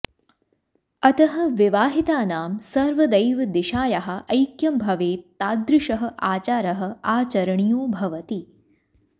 अतः विवाहितानाम् सर्वदैव दिशायाः ऐक्यम् भवेत्तादृशः आचारः आचरणीयो भवति